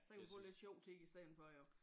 Så kan man få lidt sjov tid i stedet for jo